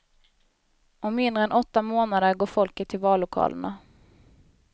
Om mindre än åtta månader går folket till vallokalerna.